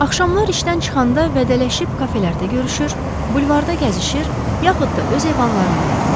Axşamlar işdən çıxanda vidalaşıb kafelərdə görüşür, bulvarda gəzişir, yaxud da öz evlərində otururlar.